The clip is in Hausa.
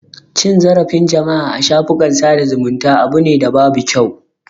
Cin zarafin jama'a a shafukan sada zumunta abu ne da babu kyau.